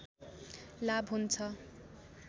लाभ हुन्छ